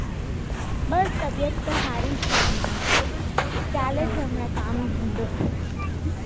બસ તબિયત તો સારી છે હમણાં ચાલે છે હમણાં કામ ધંધો